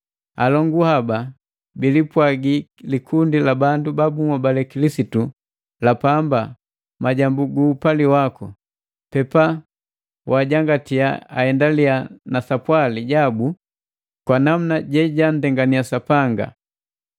Alongu haba bilipwagi likundi la bandu ba bunhobale Kilisitu la pamba majambu gu upali waku. Pepa wajangatiya aendaliya na sapwali jabu kwa namuna je janndengania Sapanga.